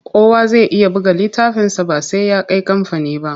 Kowa zai iya buga littafinsa ba sai ya kai kamfani ba.